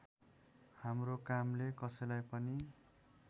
हाम्रो कामले कसैलाई पनि